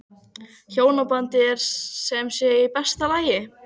Hjónabandið er sem sé í besta lagi?